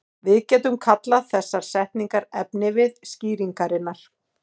Við getum kallað þessar setningar efnivið skýringarinnar.